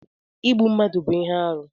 Ịgbụ mmadụ bú ihe arụ